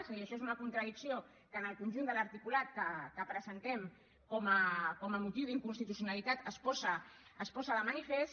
és a dir això és una contradicció que en el conjunt de l’articulat que presentem com a motiu d’inconstitucionalitat es posa de manifest